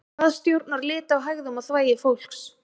hvað stjórnar lit á hægðum og þvagi fólks